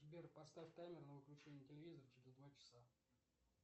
сбер поставь таймер на выключение телевизора через два часа